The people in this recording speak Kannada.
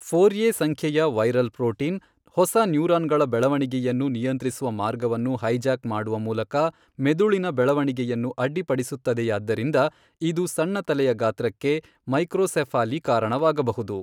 ಫೋರ್ಎ ಸಂಖ್ಯೆಯ ವೈರಲ್ ಪ್ರೋಟೀನ್, ಹೊಸ ನ್ಯೂರಾನ್ಗಳ ಬೆಳವಣಿಗೆಯನ್ನು ನಿಯಂತ್ರಿಸುವ ಮಾರ್ಗವನ್ನು ಹೈಜಾಕ್ ಮಾಡುವ ಮೂಲಕ ಮೆದುಳಿನ ಬೆಳವಣಿಗೆಯನ್ನು ಅಡ್ಡಿಪಡಿಸುತ್ತದೆಯಾದ್ದರಿಂದ ಇದು ಸಣ್ಣ ತಲೆಯ ಗಾತ್ರಕ್ಕೆ, ಮೈಕ್ರೋಸೆಫಾಲಿ ಕಾರಣವಾಗಬಹುದು.